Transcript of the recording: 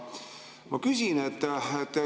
Ma küsin.